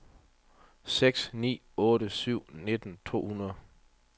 seks ni otte syv nitten to hundrede